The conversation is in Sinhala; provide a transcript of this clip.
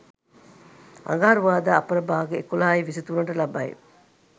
අඟහරුවාදා අපරභාග 11.23 ට ලබයි.